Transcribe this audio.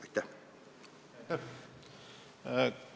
Aitäh!